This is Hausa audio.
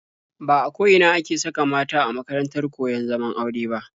Ba a ko ina ne ake saka mata a makarantar koyon zaman aure ba.